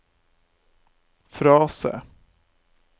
frase